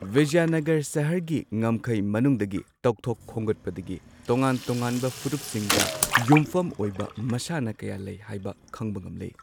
ꯕꯤꯖꯌꯅꯥꯒꯔ ꯁꯍꯔꯒꯤ ꯉꯝꯈꯩ ꯃꯅꯨꯡꯗꯒꯤ ꯇꯧꯊꯣꯛ ꯈꯣꯝꯒꯠꯄꯗꯒꯤ ꯇꯣꯉꯥꯟ ꯇꯣꯉꯥꯟꯕ ꯐꯨꯔꯨꯞꯁꯤꯡꯗ ꯌꯨꯝꯐꯝ ꯑꯣꯏꯕ ꯃꯁꯥꯟꯅ ꯀꯌꯥ ꯂꯩ ꯍꯥꯏꯕ ꯈꯪꯕ ꯉꯝꯂꯦ꯫